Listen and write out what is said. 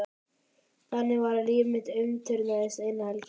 Þannig var að líf mitt umturnaðist eina helgi.